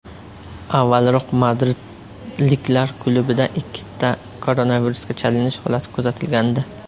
Avvalroq madridliklar klubida ikkita koronavirusga chalinish holati kuzatilgandi .